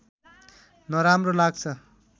नराम्रो लाग्छ